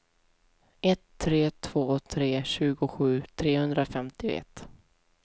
ett tre två tre tjugosju trehundrafemtioett